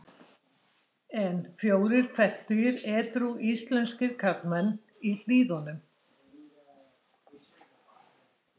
En fjórir fertugir edrú íslenskir karlmenn í Hlíðunum.